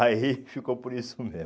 Aí ficou por isso mesmo.